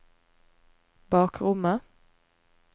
bakrommet